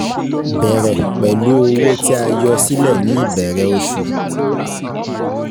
Bẹ̀rẹ̀ pẹ̀lú owó tí a yọ sílẹ̀ ní ìbẹ̀rẹ̀ oṣù.